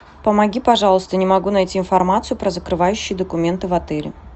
помоги пожалуйста не могу найти информацию про закрывающие документы в отеле